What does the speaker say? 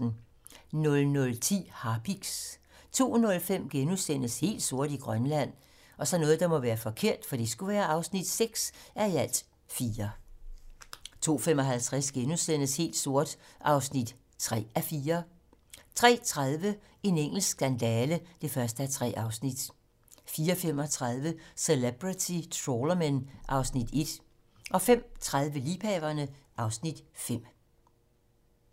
00:10: Harpiks 02:05: Helt sort i Grønland (6:4)* 02:55: Helt sort (3:4)* 03:30: En engelsk skandale (1:3) 04:35: Celebrity Trawlermen (Afs. 1) 05:30: Liebhaverne (Afs. 5)